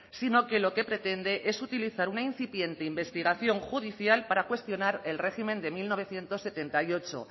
sino que lo que pretende es utilizar una incipiente investigación judicial para cuestionar el régimen de mil novecientos setenta y ocho